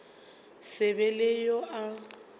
se be le yo a